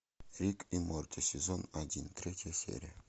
рик и морти сезон один третья серия